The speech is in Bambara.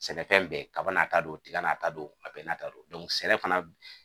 Sɛnɛfɛn bɛɛ kaba n'a ta don, tiga n'a ta don a bɛɛ n'a ta don. sɛnɛ fana